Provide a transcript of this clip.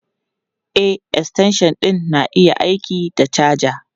E, extension ɗin na iya yin aiki da caja.